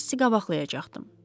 Mən sizi qabaqlayacaqdım.